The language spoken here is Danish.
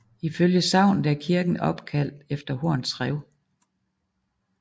Ifølge sagnet er kirken opkaldt efter Horns Rev